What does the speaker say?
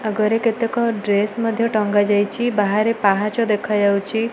ଆଗରେ କେତେକ ଡ୍ରେସ ମଧ୍ୟ ଟଙ୍ଗା ଯାଇଚି ବାହାରେ ପାହଚ ଦେଖାଯାଉଚି।